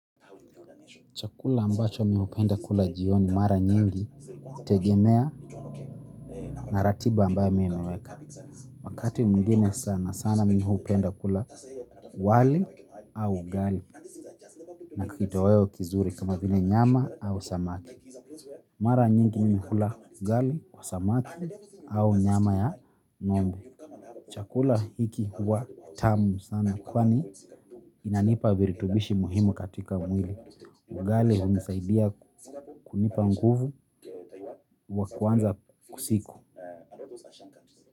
Chakula ambacho mi hupenda kula jioni mara nyingi hutegemea na ratiba ambayo mi huweka. Wakati mwingine sana sana mi hupenda kula wali au ugali, na kitoweo kizuri kama vile nyama au samaki. Mara nyingi mi hukula ugali kwa samaki au nyama ya ng'ombe, chakula hiki huwa tamu sana kwani inanipa virutubishi muhimu katika mwili. Ugali hunisaidia kunipa nguvu wa kuanza siku.